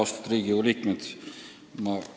Austatud Riigikogu liikmed!